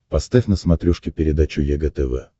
поставь на смотрешке передачу егэ тв